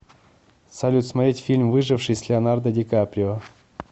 салют смотреть фильм выживший с леонардо ди каприо